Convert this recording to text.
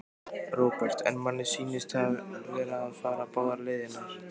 Róbert: En manni sýnist þið vera að fara báðar leiðirnar?